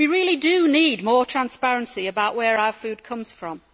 We really do need more transparency about where our food comes from.